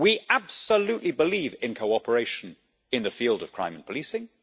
We absolutely believe in cooperation in the field of crime and policing.